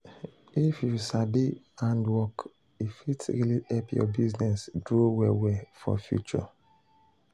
if you sabi hand work e fit really help your business grow well well for future.